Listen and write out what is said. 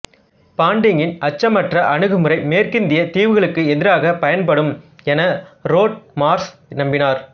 பாண்டிங்கின் அச்சமற்ற அணுகுமுறை மேற்கிந்தியத் தீவுகளுக்கு எதிராகப் பயன்படும் என ரோட் மார்ஷ் நம்பினார்